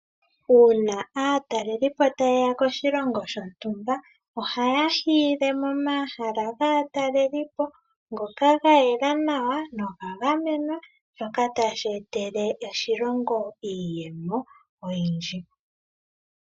Uuna aatalelipo taye ya koshilongo shontumba, ohaya hiile momahala gaatalelipo ngoka ga yela nawa noga gamenwa shoka tashi etele oshilongo iiyemo oyindji.